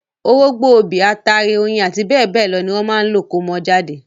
Orógbó, obì, ataare, oyin, àti bẹ́ẹ̀ lọ ní wọ́n máa lò kómọ jáde.